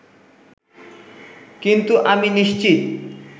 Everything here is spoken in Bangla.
কিন্তু আমি নিশ্চিত